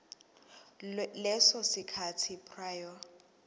leso sikhathi prior